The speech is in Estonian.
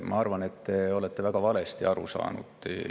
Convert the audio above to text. Ma arvan, et te olete väga valesti aru saanud.